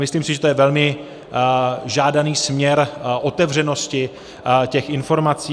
Myslím si, že to je velmi žádaný směr otevřenosti těch informací.